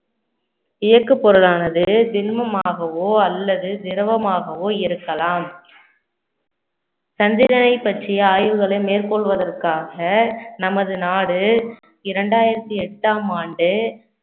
இயக்கு பொருளானது திண்மமாகவோ அல்லது திரவமாகவோ இருக்கலாம் சந்திரனை பற்றிய ஆய்வுகளை மேற்கொள்வதற்காக நமது நாடு இரண்டாயிரத்தி எட்டாம் ஆண்டு